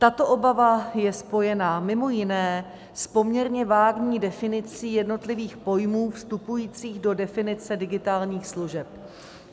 Tato obava je spojena mimo jiné s poměrně vágní definicí jednotlivých pojmů vstupujících do definice digitálních služeb.